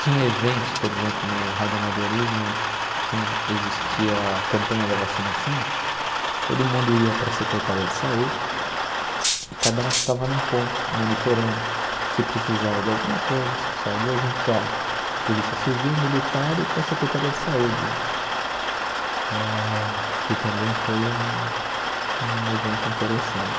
Tinha eventos, por exemplo, no Radiamadorismo, quando existia a campanha da vacinação, todo mundo ia para a Secretaria de Saúde e cada um ficava num ponto, monitorando se precisava de alguma coisa, se precisava de, junto com a Polícia Civil, Militar e com a Secretaria de Saúde, eh que também foi um um evento interessante.